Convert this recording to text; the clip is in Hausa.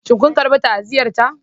Shin kun karɓi ta'aziyyata?